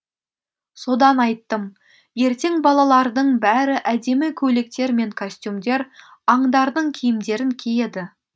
содан айттым ертең балалардың бәрі әдемі көйлектер мен костюмдер аңдардың киімдерін киеді